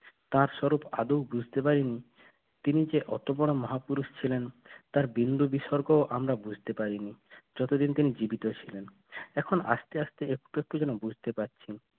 তার স্বরূপ আদেও বুঝতে পারিনি তুমি যে অত বড় মহাপুরুষ ছিলেন তার বিন্দু বিসর্গও আমরা বুঝতে পারিনি যতদিন তিনি জীবিত ছিল এখন আস্তে আস্তে একটু একটু যেন বুঝতে পারছি